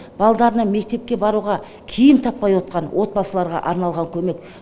балаларына мектепке баруға киім таппай отқан отбасыларға арналған көмек